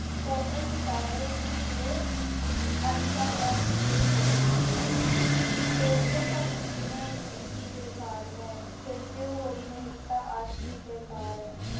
ਕੋਮਲ ਸਿਤਾਰੇ ਮੂੰਹ ਸਿਰੇ, ਅੱਜ ਕੱਲ੍ਹ ਹੈ ਪੂਰੇ ਹੋਸ਼, ਦੋਸਤੋ ਭਗਤੀ ਬਿਨਾ ਇਹ ਜ਼ਿੰਦਗੀ ਬੇਕਾਰ ਹੈ। ਫਿਰ ਜੇ ਹੋਈ ਨਹੀਂ ਤਾਂ ਆਸ਼ਕੀ ਬੇਕਾਰ ਹੈ।